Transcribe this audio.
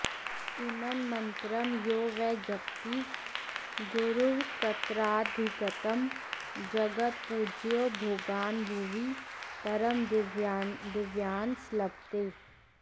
इमं मन्त्रं यो वै जपति गुरुवक्त्रादधिगतं जगत्पूज्यो भोगान्भुवि परमदिव्यान्स लभते